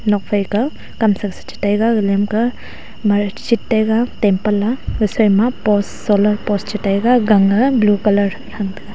nokphai kah kamsa chi taiga gag len kah marsjit taiga temple a gasui ma post solar post chi taiga gang a blue colour tha taiga.